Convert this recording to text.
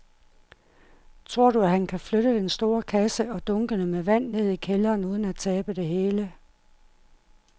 Tror du, at han kan flytte den store kasse og dunkene med vand ned i kælderen uden at tabe det hele?